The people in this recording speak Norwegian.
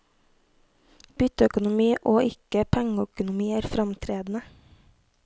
Bytteøkonomi og ikke pengeøkonomi er framtredende.